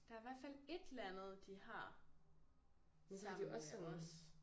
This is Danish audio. Der er hvert fald et eller andet de har sammen med os